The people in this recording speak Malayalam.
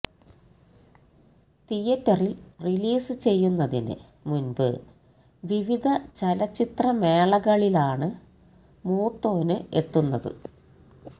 തിയറ്ററില് റിലീസ് ചെയ്യുന്നതിന് മുന്പ് വിവിധ ചലച്ചിത്ര മേളകളിലാണ് മൂത്തോന് എത്തുന്നത്